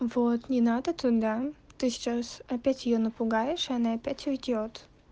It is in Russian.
вот не надо туда ты сейчас опять её напугаешь и она опять уйдёт